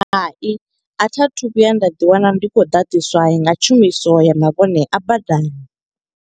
Hai, a tha thu vhuya nda ḓi wana ndi khou ḓaḓiswa nga tshumiso ya mavhone a badani.